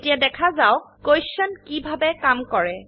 এতিয়া দেখা যাওক কোটিয়েণ্ট কিভাবে কাম কৰে